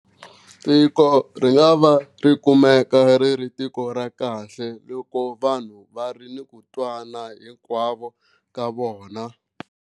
Tiko ri nga va ri kumeka ri ri tiko ra kahle loko vanhu va ri ni ku twana hinkwavo ka vona.